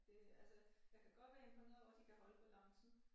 Det altså jeg kan godt være imponeret over de kan holde balancen